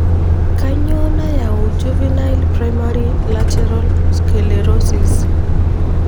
Kanyio nayau juvenile primary lateral sclerosis?